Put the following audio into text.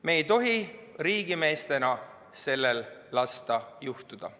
Me ei tohi riigimeestena sellel lasta juhtuda.